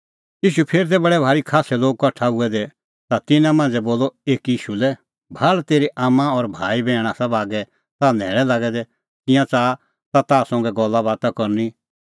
ईशू फेर तै बडै भारी खास्सै लोग कठा हुऐ दै ता तिन्नां मांझ़ै बोलअ एकी ईशू लै भाल़ तेरी आम्मां भाई और बैहण आसा बागै ताह न्हैल़ै लागै दै तिंयां च़ाहा ताह संघै गल्लाबाता करनी